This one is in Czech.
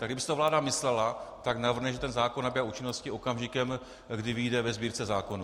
Tak kdyby si to vláda myslela, tak navrhne, že ten zákon nabývá účinnosti okamžikem, kdy vyjde ve Sbírce zákonů.